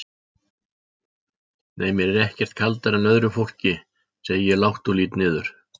Nei mér er ekkert kaldara en öðru fólki, segi ég lágt og lít niður.